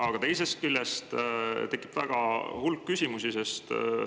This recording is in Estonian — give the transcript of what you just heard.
Aga teisest küljest tekib hulk küsimusi.